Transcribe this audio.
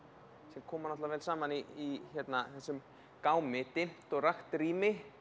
sem koma vel saman í þessum gámi dimmt og rakt rými